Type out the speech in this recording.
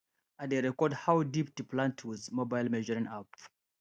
i dey record how deep to plant with mobile measuring app